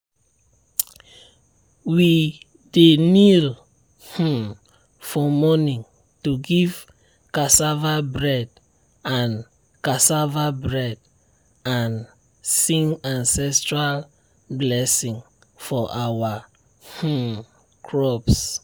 we dey kneel um for morning to give cassava bread and cassava bread and sing ancestral blessing for our um crops.